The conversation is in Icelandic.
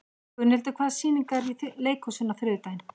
Gunnhildur, hvaða sýningar eru í leikhúsinu á þriðjudaginn?